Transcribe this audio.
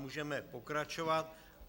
Můžeme pokračovat.